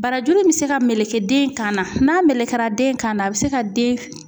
Barajuru in bɛ se ka meleke den kan na n'a melekera den kan na a bɛ se ka den